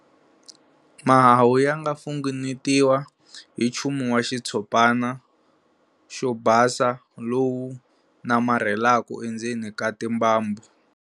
Mahahu ya nga funengetiwa hi nchumu wa xitshopana xo basa lowu namarhelaka endzeni ka timbambu.